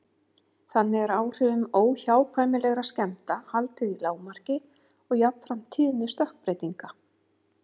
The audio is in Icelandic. Þannig er áhrifum óhjákvæmilegra skemmda haldið í lágmarki og jafnframt tíðni stökkbreytinga.